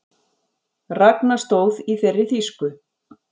Ragna stóð í þeirri þýsku